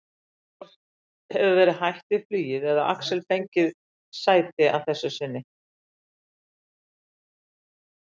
Annaðhvort hefur verið hætt við flugið eða Axel ekki fengið sæti að þessu sinni.